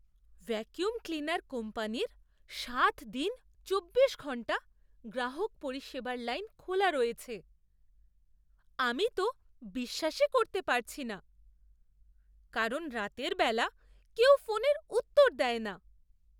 Vacuum cleaner কোম্পানির সাত দিন চব্বিশ ঘণ্টা গ্রাহক পরিষেবার লাইন খোলা রয়েছে আমি তো বিশ্বাসই করতে পারছি না, কারণ রাতের বেলা কেউ ফোনের উত্তর দেয় না!